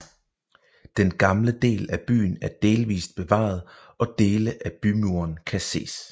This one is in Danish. Den gamle del af byen er delvist bevaret og dele af bymuren kan ses